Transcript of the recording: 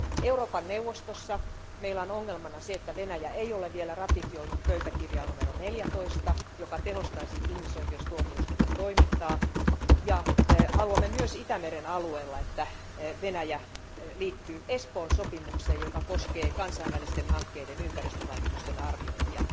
Euroopan neuvostossa meillä on ongelmana se, että Venäjä ei ole vielä ratifioinut pöytäkirjaa numero 14, joka tehostaisi ihmisoikeustuomioistuimen toimintaa, ja haluamme myös Itämeren alueella, että Venäjä liittyy Espoon sopimukseen, joka koskee kansainvälisten hankkeiden ympäristövaikutusten arviointia.